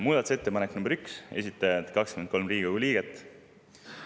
Muudatusettepanek nr 1, esitajad 23 Riigikogu liiget.